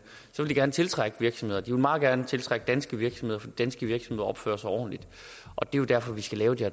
gerne tiltrække virksomheder de vil meget gerne tiltrække danske virksomheder for danske virksomheder opfører sig ordentligt og det er jo derfor vi skal lave de